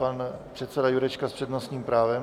Pan předseda Jurečka s přednostním právem.